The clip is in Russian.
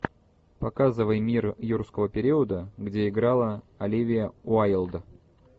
показывай мир юрского периода где играла оливия уайлд